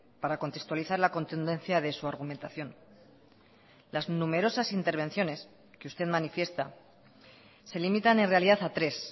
para contextualizar la contundencia de su argumentación las numerosas intervenciones que usted manifiesta se limitan en realidad a tres